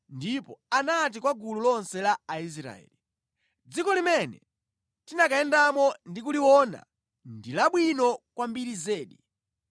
ndipo anati kwa gulu lonse la Aisraeli, “Dziko limene tinakayendamo ndi kuliona ndi labwino kwambiri zedi.